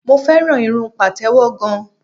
Mo fẹ́ràn irun Pàtẹ́wọ́ gan.